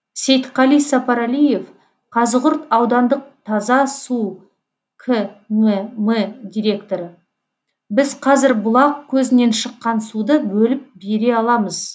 сейітқали сапарәлиев қазығұрт аудандық таза су кмм директоры біз қазір бұлақ көзінен шыққан суды бөліп бере аламыз